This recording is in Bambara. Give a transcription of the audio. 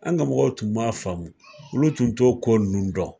An ka mɔgɔw tun ma faamu, olu tun to ko nunnu dɔn.